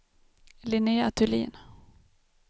Linnea Thulin